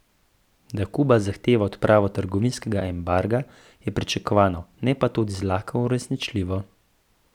Da Kuba zahteva odpravo trgovinskega embarga, je pričakovano, ne pa tudi zlahka uresničljivo.